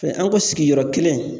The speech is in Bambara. Tɛ an ko sigiyɔrɔ kelen